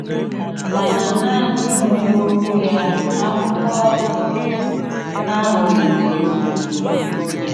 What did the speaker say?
Màna nanị ìnwè Òkwù ya, àkụ̀kọ àhụ, ezùghì.